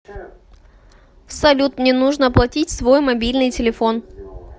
салют мне нужно оплатить свой мобильный телефон